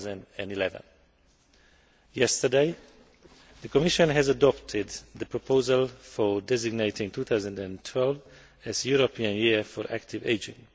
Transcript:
2011. Yesterday, the Commission adopted the proposal for designating 2012 the European Year for Active Ageing.